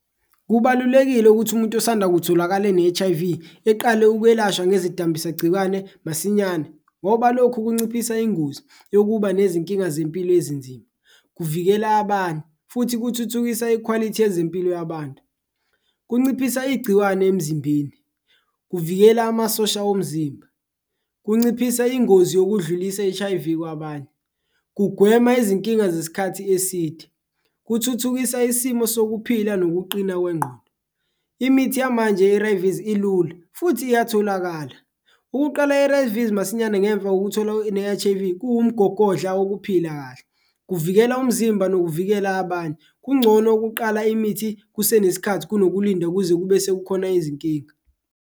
Kubalulekile ukuthi umuntu osanda kutholakala ne-H_I_V eqale ukwelashwa ngezidambisa gcikwane masinyane ngoba lokhu kunciphisa ingozi yokuba nezinkinga zempilo ezinzima, kuvikela banye futhi kuthuthukisa ikhwalithi yezimpilo yabantu, kunciphisa igciwane emzimbeni, kuvikela amasosha omzimba. Kunciphisa ingozi yokudlulisa i-H_I_V kwabanye, kugwema izinkinga zesikhathi eside, kuthuthukisa isimo sokuphila nokuqina kwengqondo, imithi yamanje ye-A_R_V's ilula futhi iyatholakala. Ukuqala i-A_R_V's masinyane ngemva kokuthola ne-H_I_V kuwumgogodla okuphila kahle, kuvikela umzimba nokuvikela abanye, kungcono ukuqala imithi kusenesikhathi kunokulinda kuze kube sekukhona izinkinga.